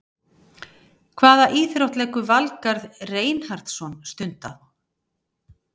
Hvaða íþrótt leggur Valgarð Reinhardsson stund á?